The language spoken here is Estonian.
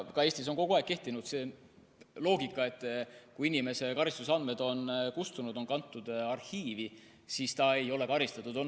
Ka Eestis on kogu aeg kehtinud see loogika, et kui inimese karistusandmed on kustunud, kantud arhiivi, siis ta ei ole karistatud.